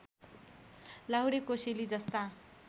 लाहुरे कोसेली जस्ता